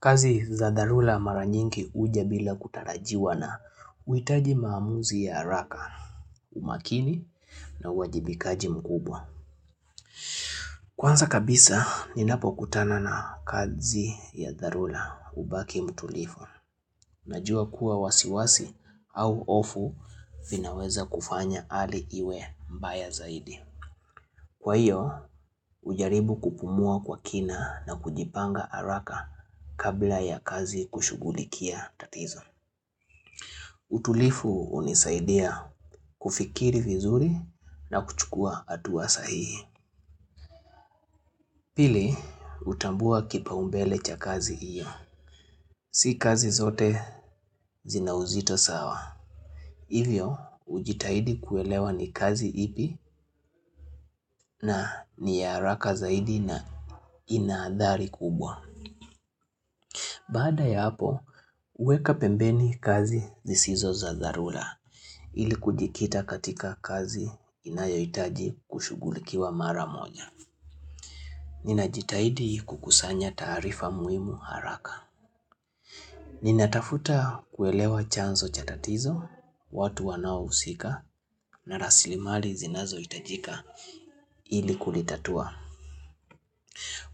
Kazi za dharura mara nyingi huja bila kutarajiwa na uhitaji maamuzi ya haraka, umakini na uwajibikaji mkubwa. Kwanza kabisa, ninapokutana na kazi ya dharura hubaki mtulivu. Najua kuwa wasiwasi au hofu vinaweza kufanya hali iwe mbaya zaidi. Kwa hiyo, hujaribu kupumua kwa kina na kujipanga haraka kabla ya kazi kushugulikia tatizo. Utulivu hunisaidia kufikiri vizuri na kuchukua hatua sahihi Pili, hutambua kipaumbele cha kazi hiyo. Si kazi zote zina uzito sawa. Hivyo, hujitahidi kuelewa ni kazi ipi na ni ya haraka zaidi na ina hadhari kubwa. Baada ya hapo, huweka pembeni kazi zisizo za dharura ili kujikita katika kazi inayohitaji kushugulikiwa mara moja. Ninajitahidi kukusanya taarifa muhimu haraka. Ninatafuta kuelewa chanzo cha tatizo, watu wanaohusika na raslimali zinazohitajika ili kulitatua.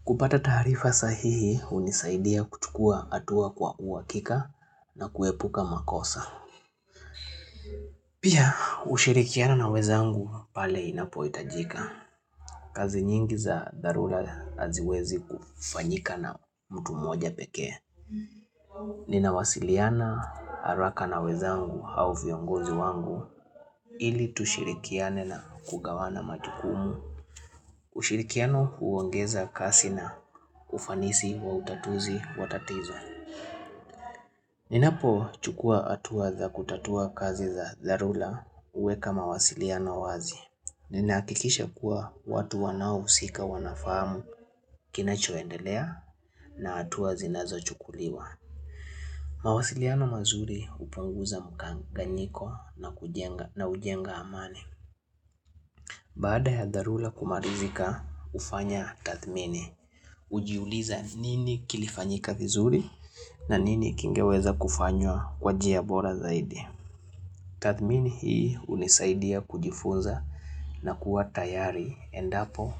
Kupata taarifa sahihi hunisaidia kuchukua hatua kwa uhakika na kuepuka makosa. Pia ushirikiano na wenzangu pale inapohitajika. Kazi nyingi za dharura haziwezi kufanyika na mtu mmoja pekee. Ninawasiliana haraka na wenzangu au viongozi wangu ili tushirikiane na kugawana majukumu. Ushirikiano huongeza kasi na ufanisi wa utatuzi wa tatizo Ninapo chukua hatua za kutatua kazi za dharura huweka mawasiliano wazi Ninahakikisha kuwa watu wanaohusika wanafamu kinachoendelea na hatua zinazochukuliwa mawasiliano mazuri hupanguza mkanganyiko na hujenga amani Baada ya dharura kumalizika hufanya tathmini hujiuliza nini kilifanyika vizuri na nini kingeweza kufanywa kwa njia bora zaidi. Tathmini hii hunisaidia kujifunza na kuwa tayari endapo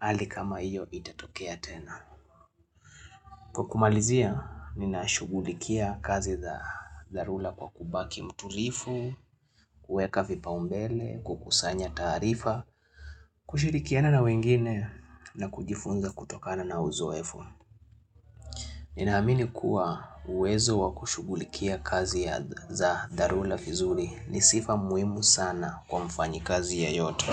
hali kama hiyo itatokea tena. Kwa kumalizia ninashugulikia kazi za dharura kwa kubaki mtulivu, kuweka vipaumbele, kukusanya taarifa, kushirikiana na wengine na kujifunza kutokana na uzoefu. Ninaamini kuwa uwezo wakushugulikia kazi za Dharurs ni vizuri ni sifa muhimu sana kwa mfanyi kazi ya yoto.